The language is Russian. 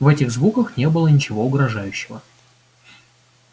в этих звуках не было ничего угрожающего